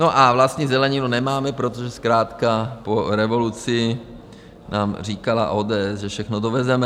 No a vlastní zeleninu nemáme, protože zkrátka po revoluci nám říkala ODS, že všechno dovezeme.